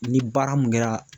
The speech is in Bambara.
Ni baara mun kɛra